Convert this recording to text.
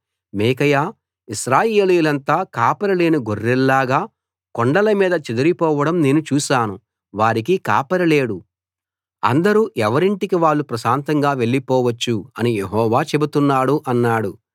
మీకాయా ఇశ్రాయేలీయులంతా కాపరిలేని గొర్రెల్లాగా కొండల మీద చెదరి పోవడం నేను చూశాను వారికి కాపరి లేడు అందరూ ఎవరింటికి వాళ్ళు ప్రశాంతంగా వెళ్లిపోవచ్చు అని యెహోవా చెబుతున్నాడు అన్నాడు